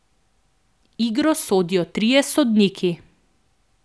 Igro sodijo trije sodniki.